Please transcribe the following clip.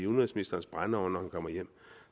udenrigsministerens brændeovn når han kommer hjem